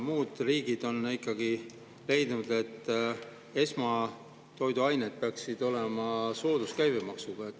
Muud riigid on ikkagi leidnud, et esmatoiduained peaksid olema sooduskäibemaksuga.